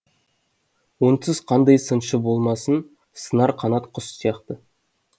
онсыз қандай сыншы болмасын сынар қанат құс сияқты